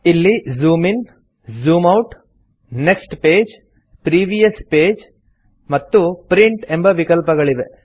ಇಲ್ಲಿ zoom in zoom out next page previous page ಮತ್ತು print ಎಂಬ ವಿಕಲ್ಪಗಳಿವೆ